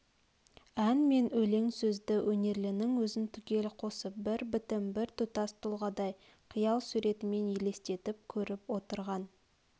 ән мен өлең сөзді өнерлінің өзін түгел қосып бір бітім бір тұтас тұлғадай қиял суретімен елестетіп көріп отырған